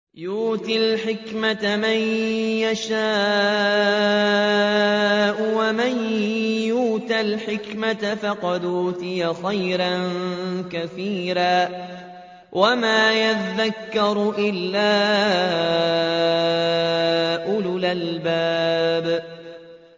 يُؤْتِي الْحِكْمَةَ مَن يَشَاءُ ۚ وَمَن يُؤْتَ الْحِكْمَةَ فَقَدْ أُوتِيَ خَيْرًا كَثِيرًا ۗ وَمَا يَذَّكَّرُ إِلَّا أُولُو الْأَلْبَابِ